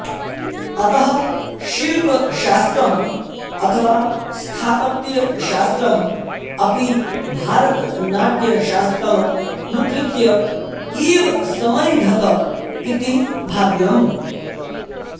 अतः शिल्पशास्त्रम् अथवा स्थापत्यशास्त्रम् अपि भारतनाट्यशास्त्रमनुकृत्य एव समैधत इति भाव्यम्